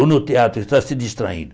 Ou no teatro está se distraindo.